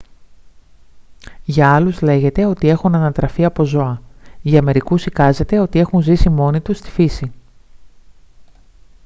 για άλλους λέγεται ότι έχουν ανατραφεί από ζώα· για μερικούς εικάζεται ότι έχουν ζήσει μόνοι τους στη φύση